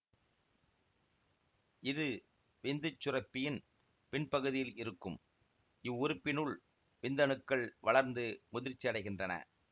இது விந்துச் சுரப்பியின் பின் பகுதியில் இருக்கும் இவ்வுறுப்பினுள் விந்தணுக்கள் வளர்ந்து முதிர்ச்சியடைகின்றன